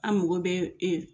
An mago bɛ e